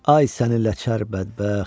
Ay sənin ləçər bədbəxt!